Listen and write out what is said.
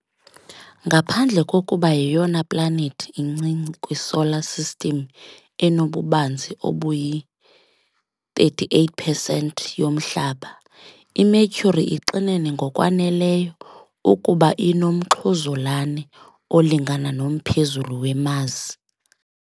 Ngaphandle kokuba yeyona planethi incinci kwiSolar System enobubanzi obuyi-, i-38 percent yoMhlaba, iMercury ixinene ngokwaneleyo ukuba inomxhuzulane olingana nomphezulu weMars.